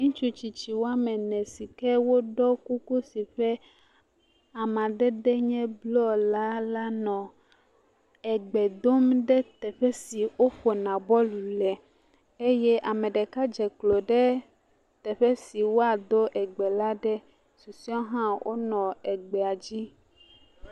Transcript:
Ŋutsutsitsi woame ene sike woɖɔ kuku si ƒe amadede enye bluɔ la lá nɔ Egbe dom ɖe teƒe si woƒona bɔl le eye ameɖeka dze klo ɖe teƒe si woado egbe la ɖe susuɛ wohã wonɔ egbea dzi.